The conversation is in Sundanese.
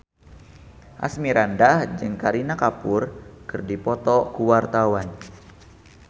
Asmirandah jeung Kareena Kapoor keur dipoto ku wartawan